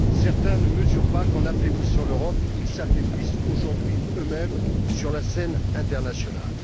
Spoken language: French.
Certains ne mesurent pas qu'en affaiblissant l'Europe, ils s'affaiblissent aujourd'hui, eux mêmes, sur la scène internationale.